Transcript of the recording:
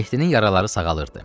Mehdinin yaraları sağalırdı.